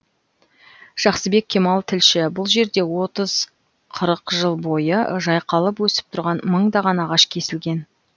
жақсыбек кемал тілші бұл жерде отыз қырық жыл бойы жайқалып өсіп тұрған мыңдаған ағаш кесілген